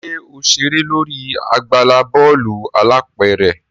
ṣe o ṣere lórí àgbàlá bọọlu alápẹrẹ?